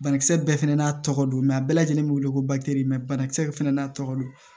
Banakisɛ bɛɛ fɛnɛ n'a tɔgɔ don a bɛɛ lajɛlen be wele ko mɛ banakisɛ bɛɛ fɛnɛ n'a tɔgɔ don